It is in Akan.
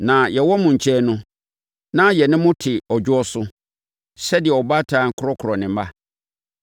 Na yɛwɔ mo nkyɛn no, na yɛne mo te ɔdwoɔ so, sɛdeɛ ɔbaatan korɔkorɔ ne mma.